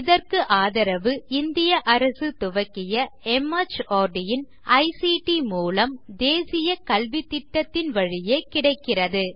இதற்கு ஆதரவு இந்திய அரசு துவக்கிய மார்ட் இன் ஐசிடி மூலம் தேசிய கல்வித்திட்டத்தின் வழியே கிடைக்கிறது